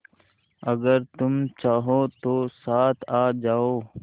अगर तुम चाहो तो साथ आ जाओ